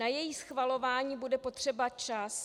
Na její schvalování bude potřeba čas.